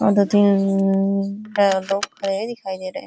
और दो तीन लोग खड़े दिखाई दे रहे --